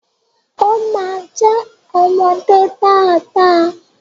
O ma jẹ ọmọdé dada.